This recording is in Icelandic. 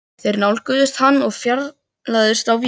Þeir nálguðust hann og fjarlægðust á víxl.